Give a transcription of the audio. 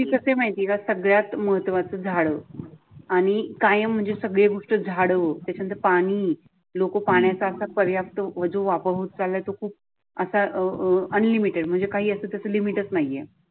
कस माहिती आहे का सगळ्यात महत्त्वाचं झाडं आणि काय म्हणजे सगळी गोष्ट झाडं. त्याच्या नंतर पाणी लोक पाण्याचा पर्याप्त जो वापर होत चालला तो खूप असा अं अं अनलिमिटेड म्हणजे काही असत तसं लिमिट नाहीये.